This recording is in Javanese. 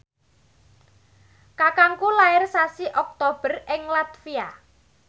kakangku lair sasi Oktober ing latvia